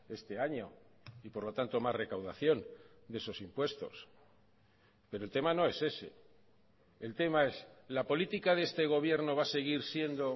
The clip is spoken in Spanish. este año y por lo tanto más recaudación de esos impuestos pero el tema no es ese el tema es la política de este gobierno va a seguir siendo